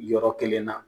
Yɔrɔ kelen na